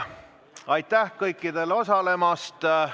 Aitäh kõikidele osalemast!